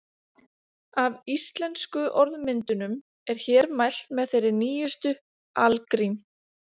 Af íslensku orðmyndunum er hér mælt með þeirri nýjustu, algrím.